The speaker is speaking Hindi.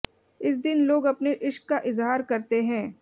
इस दिन लोग अपने इश्क का इजहार करते हैं